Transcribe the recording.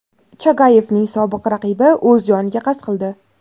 Chagayevning sobiq raqibi o‘z joniga qasd qildi.